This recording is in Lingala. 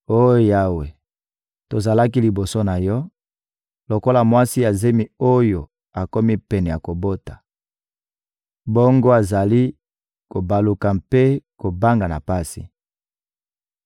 Oh Yawe, tozalaki liboso na Yo lokola mwasi ya zemi oyo akomi pene ya kobota, bongo azali kobaluka mpe koganga na pasi.